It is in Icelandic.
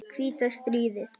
hvíta stríð.